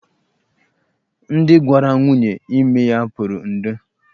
Ndị gwara nwaanyị ime ya pụrụ 'ndo'.